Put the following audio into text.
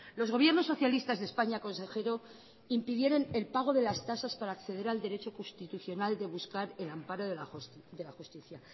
los gobiernos socialistas de españa consejero impidieron el pago de las tasas para acceder al derecho constitucional de buscar el amparo de la justicia